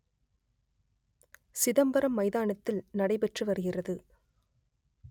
சிதம்பரம் மைதானத்தில் நடைபெற்று வருகிறது